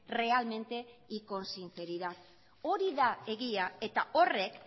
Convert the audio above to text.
realmente y con sinceridad hori da egia eta horrek